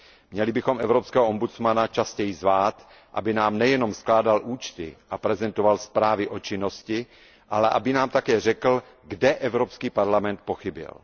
Měli bychom evropského ombudsmana častěji zvát, aby nám nejenom skládal účty a prezentoval zprávy o činnosti, ale aby nám také řekl, kde Evropský parlament pochybil.